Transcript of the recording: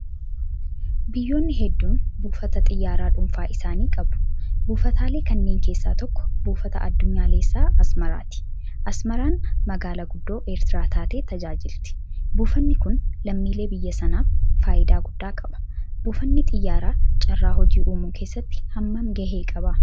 Biyyoonni hedduun buufata xiyyaaraaa dhuunfaa isaanii qabu. Buufataalee kanneen keessaa tokko buufata addunyaalessaa Asmaraati. Asmaraan magaalaa guddoo Eertiraa taatee tajaajilti. Buufanni kun lammiilee biyya sanaaf faayidaa guddaa qaba. Buufanni xiyyaaraa carraa hojii uumuu keessatti hammam gahee qaba?